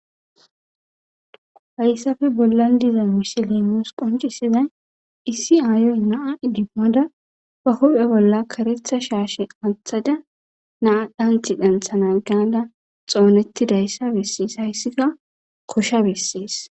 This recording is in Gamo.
Hayssafe bollan diza mishilimos qoncisizay issi aayoy naa idimmada ba hophe bolla karetha shaashe athada naa dhanti danthana gada xoonetti dayssa bessees hayssika kosha besses.